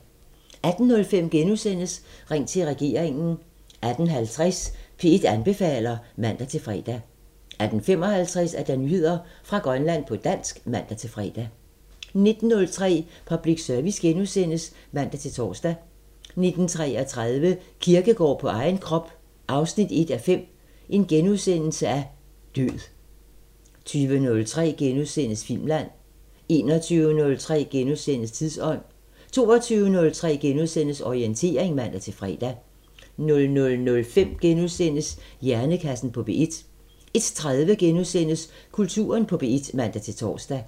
18:05: Ring til regeringen * 18:50: P1 anbefaler (man-fre) 18:55: Nyheder fra Grønland på dansk (man-fre) 19:03: Public Service *(man-tor) 19:33: Kierkegaard på egen krop 1:5 – Død * 20:03: Filmland * 21:03: Tidsånd * 22:03: Orientering *(man-fre) 00:05: Hjernekassen på P1 * 01:03: Kulturen på P1 *(man-tor)